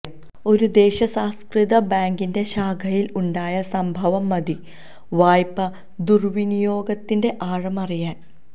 ഒരു ദേശസാത്കൃത ബാങ്കിന്റെ ശാഖയിൽ ഉണ്ടായ സംഭവം മതി വായ്പ ദുർവിനിയോഗത്തിന്റെ ആഴമറിയാൻ